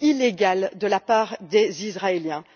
illégales de la part des Israéliens.